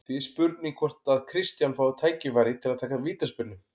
Því er spurning hvort að Kristján fái tækifæri til að taka vítaspyrnu?